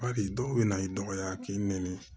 Bari dɔw bɛna i dɔgɔya k'i nɛni